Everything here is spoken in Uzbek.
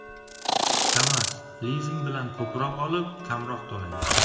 Kamaz-lizing bilan ko‘proq olib, kamroq to‘lang.